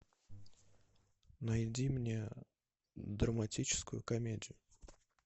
найди мне драматическую комедию